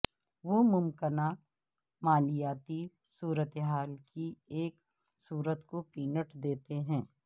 وہ ممکنہ مالیاتی صورتحال کی ایک تصویر کو پینٹ دیتے ہیں